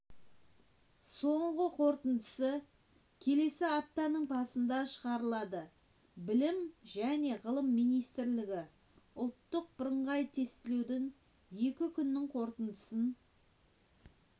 соңғы қорытындысы келесі аптаның басында шығарылады білім және ғылым министрлігі ұлттық бірыңғай тестілеудің екі күнінің қорытындысын